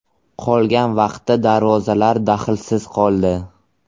Qolgan vaqtda darvozalar daxlsiz qoldi.